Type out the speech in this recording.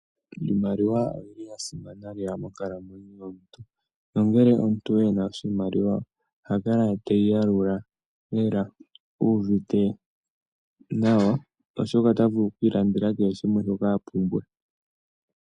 Iimaliwa oya simana lela monkalamwenyo yomuntu. Nongele omuntu ena iimaliwa oha kala teyi yalula lela uvite nawa, oshoka ota vulu oku ilandela kehe shimwe shoka a pumbwa.